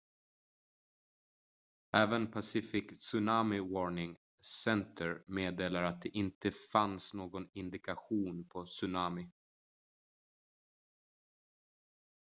även pacific tsunami warning center meddelade att det inte fanns någon indikation på tsunami